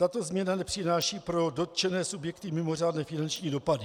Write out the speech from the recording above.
Tato změna nepřináší pro dotčené subjekty mimořádné finanční dopady.